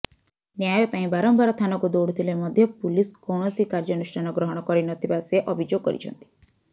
ନ୍ୟାୟ ପାଇଁ ବାରମ୍ବାର ଥାନାକୁ ଦୌଡ଼ୁଥିଲେ ମଧ୍ୟ ପୁଲିସ୍ କୌଣସି କାର୍ଯ୍ୟାନୁଷ୍ଠାନ ଗ୍ରହଣ କରିନଥିବା ସେ ଅଭିଯୋଗ କରିଛନ୍ତି